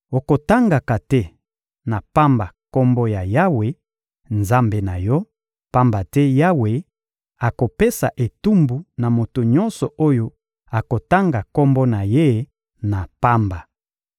Okotangaka te na pamba Kombo ya Yawe, Nzambe na yo, pamba te Yawe akopesa etumbu na moto nyonso oyo akotanga Kombo na Ye na pamba.